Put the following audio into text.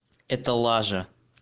это лажа